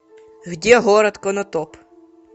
где город конотоп